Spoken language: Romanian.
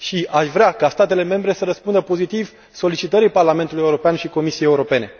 Aș vrea ca statele membre să răspundă pozitiv solicitării Parlamentului European și a Comisiei Europene.